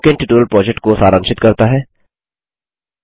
यह spoken tutorial project को सारांशित करता है